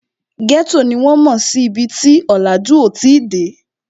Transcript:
Ghetto ni wọ́n mò sí ibi tí ọ̀làjú ò tí ì dé